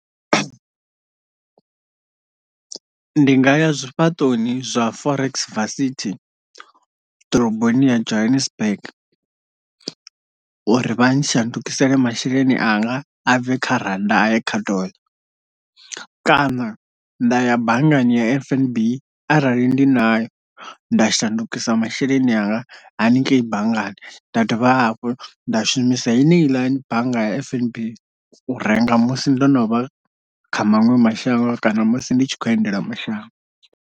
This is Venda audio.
Ndi nga ya zwifhaṱoni zwa forex varsity ḓoroboni ya Johannesburg uri vha shandukisele masheleni anga a bve kha rannda a ye kha dollar kana nda ya banngani ya F_N_B arali ndi nayo nda shandukisa masheleni anga haningei banngani nda dovha hafhu nda shumisa heneila bannga ya fnb u renga musi ndo no vha kha maṅwe mashango kana musi ndi tshi khou endela mashango.